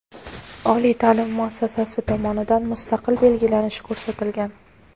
oliy taʼlim muassasasi tomonidan mustaqil belgilanishi ko‘rsatilgan.